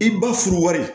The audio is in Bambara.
I ba furu wari